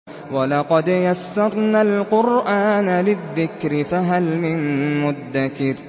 وَلَقَدْ يَسَّرْنَا الْقُرْآنَ لِلذِّكْرِ فَهَلْ مِن مُّدَّكِرٍ